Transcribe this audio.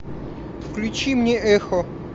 включи мне эхо